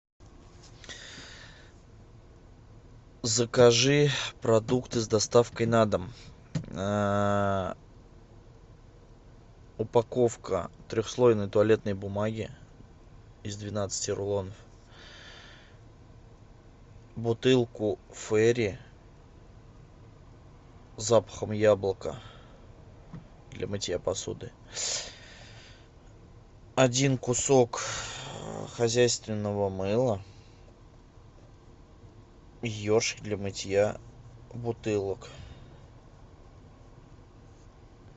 закажи продукты с доставкой на дом упаковка трехслойной туалетной бумаги из двенадцати рулонов бутылку фейри с запахом яблока для мытья посуды один кусок хозяйственного мыла и ершик для мытья бутылок